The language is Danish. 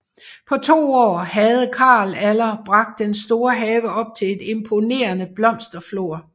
På to år havde Carl Aller bragt den store have op til et imponerende blomsterflor